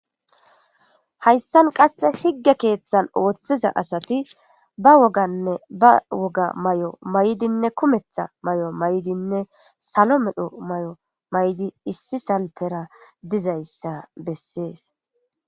Haysan qase hige keethan oothiza asati Ba woganne ba woga mayo mayidinne kumetha mayo mayidinne salo mala mayo mayidi issi salfera dizaysa besses